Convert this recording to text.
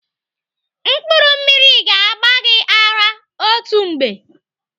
Mkpụrụ mmiri ga-agba gị ara otu mgbe.